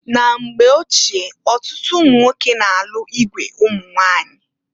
Na mgba ochie ọtụtụ ụmụnwoke na-alụ igwe ụmụnwanyị.